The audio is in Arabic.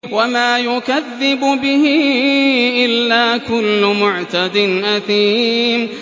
وَمَا يُكَذِّبُ بِهِ إِلَّا كُلُّ مُعْتَدٍ أَثِيمٍ